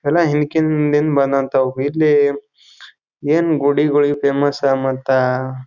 ಎಲ್ಲ ಹಿಂಡ್ಕಿನ್ ಮುಂದಿನ ಬಂದಂಥವು ಇರ್ಲಿ ಏನ್ ಗುಡಿಗಳು ಫೇಮಸ್ ಅಂಬ್ ಅಂತ.